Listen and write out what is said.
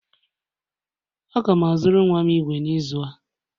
Aga m azụrụ nwa m igwe n'izu a